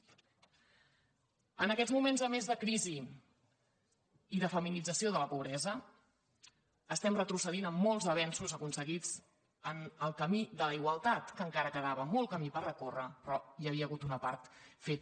en aquests moments a més de crisi i de feminització de la pobresa estem re·trocedint en molts avenços aconseguits en el camí de la igualtat que encara quedava molt camí per recórrer pe·rò hi havia hagut una part feta